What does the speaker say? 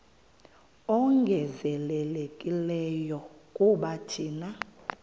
ongezelelekileyo kuba thina